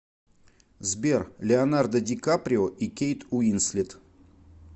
сбер леонардо ди каприо и кейт уинслет